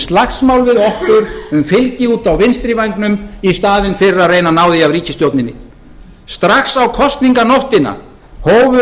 slagsmál við okkur um fylgi úti á vinstri vængnum í staðinn fyrir að reyna að ná því af ríkisstjórninni strax á kosninganóttina hófu